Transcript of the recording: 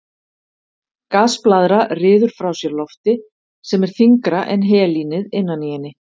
Gasblaðra ryður frá sér lofti sem er þyngra en helínið innan í henni.